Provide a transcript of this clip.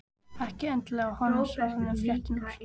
Ekki endilega að honum sárnuðu fréttirnar.